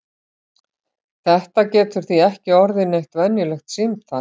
Þetta getur því ekki orðið neitt venjulegt símtal!